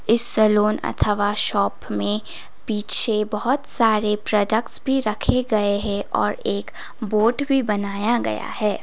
इस सैलून अथवा शॉप में पीछे बहोत सारे प्रोडक्ट्स भी रखे गए हैं और एक बोर्ड भी बनाया गया है।